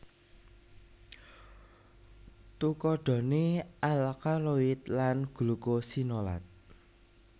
Tukadhane alkaloid lan glukosinolat